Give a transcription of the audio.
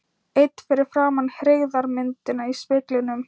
Einn fyrir framan hryggðarmyndina í speglinum.